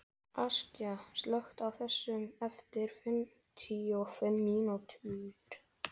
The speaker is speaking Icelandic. Askja, slökktu á þessu eftir fimmtíu og fimm mínútur.